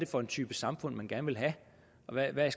for en type samfund man gerne vil have og hvad